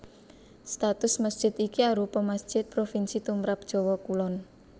Status masjid iki arupa masjid provinsi tumrap Jawa Kulon